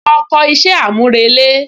Lọ kọ iṣẹ́ àmúrelé